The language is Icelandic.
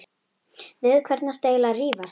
Við hvern ertu eiginlega að rífast?